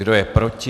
Kdo je proti?